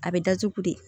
A bɛ datugu de